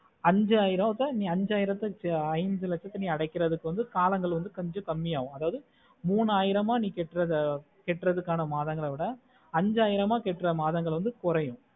அஞ்சாயிரத்தை அஞ்சாயிரத்தை ஆய்ந்துலச்சத்தை அடைக்குறதுக்கு காலங்கள் கொஞ்ச கம்மி ஆகும் அதாவது மூணாயிரமா நீ கேட்டுறது கேற்றத்துக்கான மாதங்களை விட அஞ்சாயிரமா கேட்டுற மதங்களை விட குறையும்